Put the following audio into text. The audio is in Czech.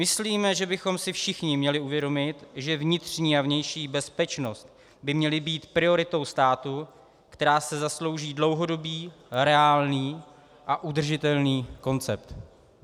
Myslíme, že bychom si všichni měli uvědomit, že vnitřní a vnější bezpečnost by měly být prioritou státu, která si zaslouží dlouhodobý, reálný a udržitelný koncept.